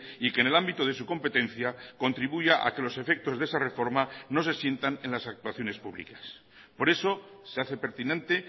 y que en el ámbito de su competencia contribuya a que los efectos de esa reforma no se sientan en las actuaciones públicas por eso se hace pertinente